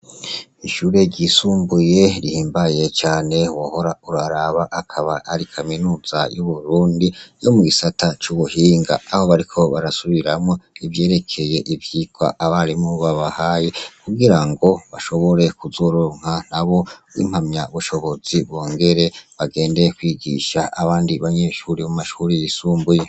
Ishure ryisumbuye rihimbaye cane wohora uraraba, akaba ari kaminuza y'Uburundi yo mu gisata c'ubuhinga aho bariko barasubiramwo ivyerekeye ivyirwa abarimu babahaye, kugira ngo bashobore kuzoronka nabo impamyabushobozi bongere bagende kwigisha abandi banyeshure mu mashure yisumbuye.